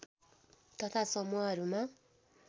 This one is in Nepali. तथा समूहहरूमा